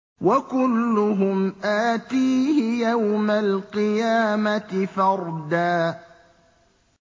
وَكُلُّهُمْ آتِيهِ يَوْمَ الْقِيَامَةِ فَرْدًا